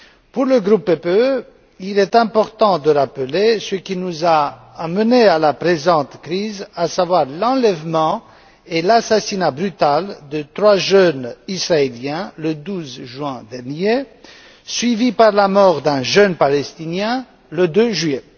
Pour le groupe du Parti populaire européen il est important de rappeler ce qui nous a amenés à la présente crise, à savoir l'enlèvement et l'assassinat brutal de trois jeunes israéliens, le 12 juin dernier, suivis par la mort d'un jeune palestinien, le 2 juillet.